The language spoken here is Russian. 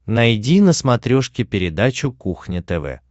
найди на смотрешке передачу кухня тв